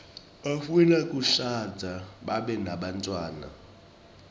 bafuna kushadza babe nebantfwana